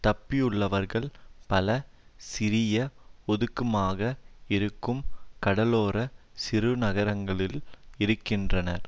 தப்பியுள்ளவர்கள் பல சிறிய ஒதுக்கமாக இருக்கும் கடலோர சிறுநகரங்களில் இருக்கின்றனர்